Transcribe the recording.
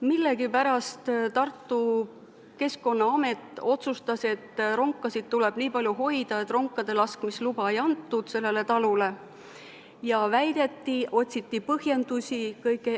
Millegipärast Tartu keskkonnaamet otsustas, et ronkasid tuleb nii palju hoida, et ronkade laskmise luba sellele talule ei antud.